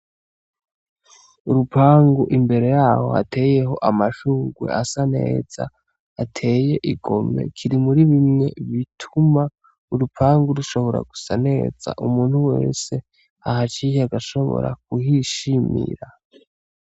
urupangu imbere yaho hateyeho amashugwe asaneza ateye igomwe kiri muribimwe bituma urupangu rushobora gusaneza umuntu wese ahaciye ashobora kuhishimira.